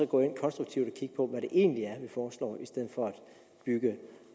gå konstruktivt ind og hvad det egentlig er vi foreslår i stedet for at bygge